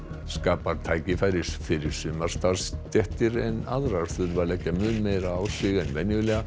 skapar tækifæri fyrir sumar starfsstéttir en aðrar þurfa að leggja mun meira á sig en venjulega